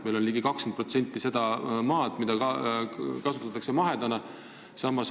Meil kasutatakse ligi 20% maast mahetootmiseks.